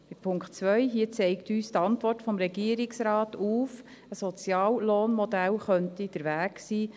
Beim Punkt 2 zeigt uns die Antwort des Regierungsrates auf, dass Soziallohnmodelle der Weg sein könnten.